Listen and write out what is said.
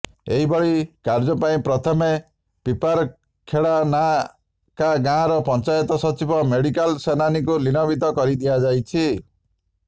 ଏଭଳି କାର୍ଯ୍ୟ ପାଇଁ ପ୍ରଥମେ ପିପାରଖେଡା ନାକା ଗାଁର ପଞ୍ଚାୟତ ସଚିବ ମୋଜିଲାଲ ସେନାନୀଙ୍କୁ ନିଲମ୍ବିତ କରିଦିଆଯାଇଛି